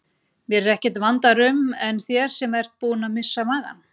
Mér er ekkert vandara um en þér sem ert búin að missa magann.